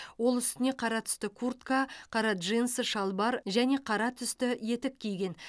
ол үстіне қара түсті куртка қара джинсы шалбар және қара түсті етік киген